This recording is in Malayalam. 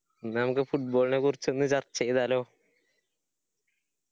എന്ന നമ്മക്ക് football നെ കുറിച്ഛ് ഒന്ന് ചർച്ച ചെയ്താലോ?